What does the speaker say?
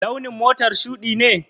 Launin motar shuɗi ne?